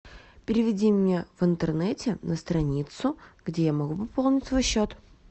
переведи мне в интернете на страницу где я могу пополнить свой счет